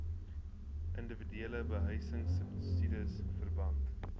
indiwiduele behuisingsubsidies verband